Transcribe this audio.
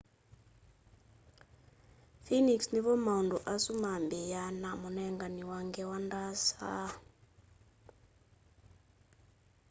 sphinx nivo maundu asu mabiaa na munengani wa ngewa ndaasa